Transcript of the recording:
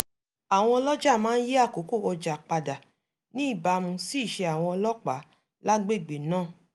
àwọn ọlọ́ja máa ń yí àkókò ọjà padà ní ìbámu sí ìṣe àwọn ọlọ́pàá lágbègbè náà